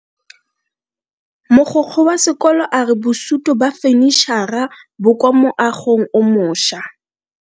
Mogokgo wa sekolo a re bosuto ba fanitšhara bo kwa moagong o mošwa.